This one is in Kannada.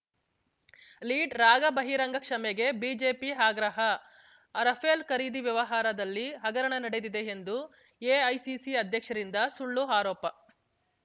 ಲೀಡ್‌ರಾಗಾ ಬಹಿರಂಗ ಕ್ಷಮೆಗೆ ಬಿಜೆಪಿ ಆಗ್ರಹ ರಫೇಲ್‌ ಖರೀದಿ ವ್ಯವಹಾರದಲ್ಲಿ ಹಗರಣ ನಡೆದಿದೆ ಎಂದು ಎಐಸಿಸಿ ಅಧ್ಯಕ್ಷರಿಂದ ಸುಳ್ಳು ಆರೋಪ